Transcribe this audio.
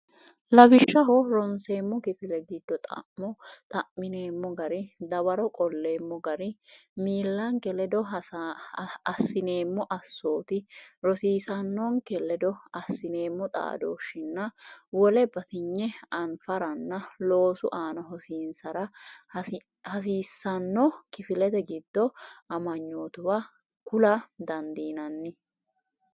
Lawishshaho, ronseemmo kifile giddo xa’mo xa’mineemmo gari, dawaro qolleemmo gari, miillanke ledo assineemmo assoti, rosiisaanonke ledo assineemmo xaadooshshinna wole batinye anfaranna loosu aana hosiin- sara hasiissanno kifilete giddo amanyootuwa kula dandiinanni.